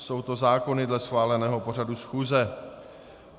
Jsou to zákony dle schváleného pořadu schůze.